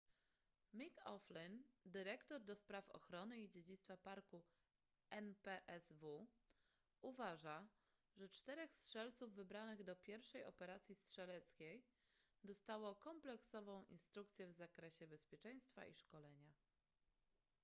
mick o'flynn dyrektor ds ochrony i dziedzictwa parku npsw uważa że czterech strzelców wybranych do pierwszej operacji strzeleckiej dostało kompleksową instrukcję w zakresie bezpieczeństwa i szkolenia